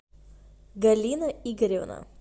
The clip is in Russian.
галина игоревна